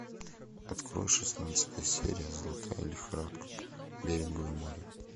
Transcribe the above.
открой шестнадцатая серия золотая лихорадка берингово море